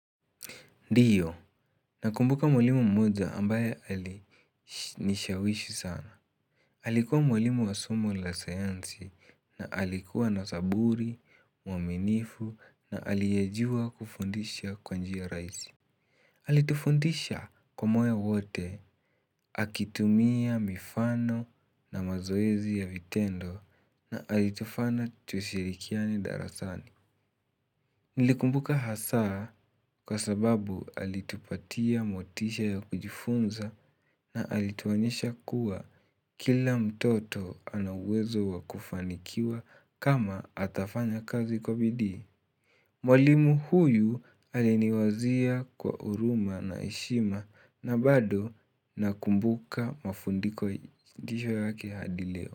Ndiyo, nakumbuka mwalimu mmoja ambaye alinishawishi sana. Alikuwa mwalimu wa somo la sayansi na alikuwa na saburi, uaminifu na aliyejua kufundisha kwa njia raihisi. Alitufundisha kwa moyo wote, akitumia mifano na mazoezi ya vitendo na alitufanya tushirikiane darasani. Nilikumbuka hasaa kwa sababu alitupatia motisha ya kujifunza na alituonyesha kuwa kila mtoto ana uwezo wa kufanikiwa kama atafanya kazi kwa bidii. Mwalimu huyu aliniwazia kwa huruma na heshima na bado nakumbuka mafundisho yake hadi leo.